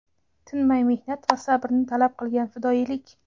tinmay mehnat va sabrni talab qilgan fidoyilik.